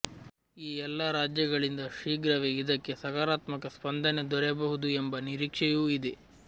ಈ ಎಲ್ಲಾ ರಾಜ್ಯಗಳಿಂದ ಶೀಘ್ರವೇ ಇದಕ್ಕೆ ಸಕಾರಾತ್ಮಕ ಸ್ಪಂದನೆ ದೊರೆಯಬಹುದು ಎಂಬ ನಿರೀಕ್ಷೆಯೂ ಇದೆ